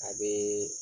A bee